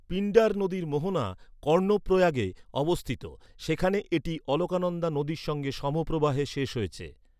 পিণ্ডার নদীর মোহনা কর্ণপ্রয়াগে অবস্থিত, সেখানে এটি অলকানন্দা নদীর সঙ্গে সমপ্রবাহে শেষ হয়েছে।